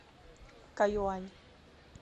кайюань